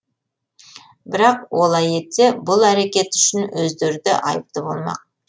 бірақ олай етсе бұл әрекеті үшін өздері де айыпты болмақ